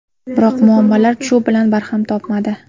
Biroq muammolar shu bilan barham topmadi.